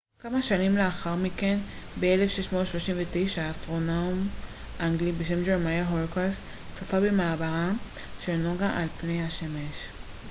כמה שנים לאחר מכן ב-1639 אסטרונום אנגלי בשם ג'רמיה הורוקס צפה במעברה של נוגה על פני השמש